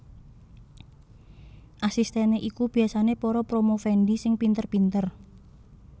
Asistèné iku biyasané para promovendi sing pinter pinter